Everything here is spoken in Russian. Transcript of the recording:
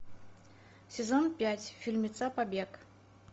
сезон пять фильмеца побег